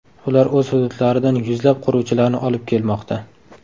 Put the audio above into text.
Ular o‘z hududlaridan yuzlab quruvchilarni olib kelmoqda.